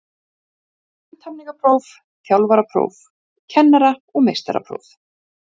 Þetta er hættulegur leikur